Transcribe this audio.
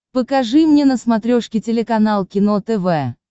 покажи мне на смотрешке телеканал кино тв